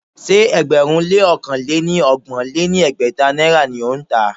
Ṣé ẹgbẹ̀rún lé ọ̀kan lé ní ọgbọ̀n lé ní ẹgbẹ́ta náírà ni ó ń tà á?